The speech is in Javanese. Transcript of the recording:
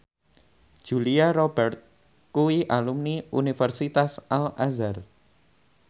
Julia Robert kuwi alumni Universitas Al Azhar